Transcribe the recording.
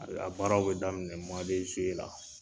A be a baaraw be daminɛ muwa de zuwe la